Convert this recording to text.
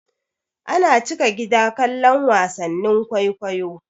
Ana cika gida kallon wasannin kwaikwayo.